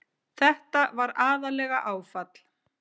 Þetta var aðallega áfall.